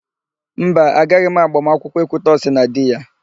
Mba, agaghị m agbamakwụkwọ Ekwutọsị na di ya.